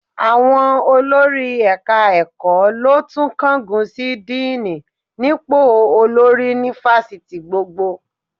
Àwọn olórí ẹ̀ka-ẹ̀kọ́ ló tún kángun sí díìnì nípò olórí ni fásitì gbogbo